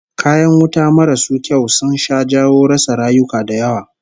Kayan wuta marasu kyau sun sha jawo rasa rayuka da yawa